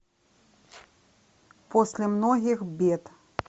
после многих бед